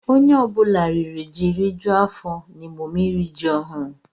Onye ọ bụla riri ji rijuo afọ n'emume iri ji ọhụrụ.